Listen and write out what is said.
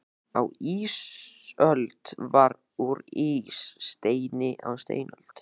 Á ísöld var allt úr ís, steini á steinöld.